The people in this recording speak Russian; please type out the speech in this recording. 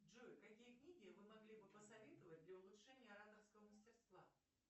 джой какие книги вы могли бы посоветовать для улучшения ораторского мастерства